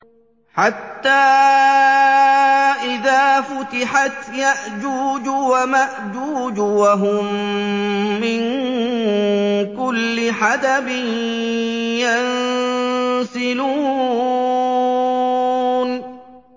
حَتَّىٰ إِذَا فُتِحَتْ يَأْجُوجُ وَمَأْجُوجُ وَهُم مِّن كُلِّ حَدَبٍ يَنسِلُونَ